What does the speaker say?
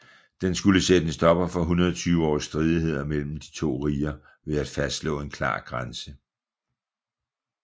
Den skulle sætte en stopper for 120 års stridigheder mellem de to riger ved at fastslå en klar grænse